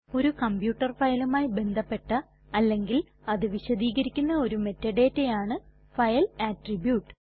ഒരു കംപ്യൂട്ടർ ഫയലുമായി ബന്ധപ്പെട്ട അല്ലെങ്കിൽ അത് വിശദീകരിക്കുന്ന ഒരു മെറ്റഡാറ്റ ആണ് ഫൈൽ അട്രിബ്യൂട്ട്